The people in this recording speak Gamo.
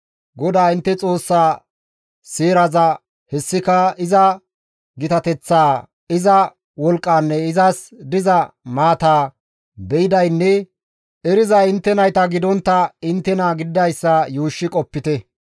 GODAA intte Xoossaa seeraza hessika iza gitateththaa, iza wolqqaanne izas diza maataa be7idaynne erizay intte nayta gidontta inttena gididayssa yuushshi qopite.